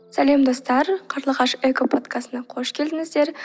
салем достар қарлығаш экоподкастына хош келдіңіздер